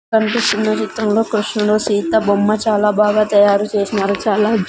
కన్పిస్తున్న చిత్రంలో కృష్ణుడు సీత బొమ్మ చాలా బాగా తయారు చేసినారు చాలా--